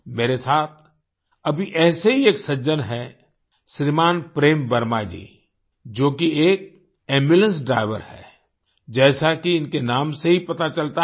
मेरे साथ अभी ऐसे ही एक सज्जन हैं श्रीमान प्रेम वर्मा जी जो कि एक एम्बुलेंस ड्राइवर हैं जैसा कि इनके नाम से ही पता चलता है